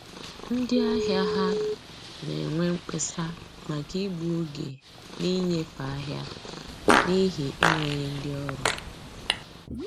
Ndị ahịa ha na-enwe mkpesa maka igbu oge na-inyefe ahịa n'ihi enweghị ndị ọrụ